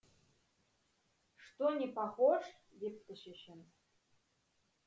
что не похож депті шешеміз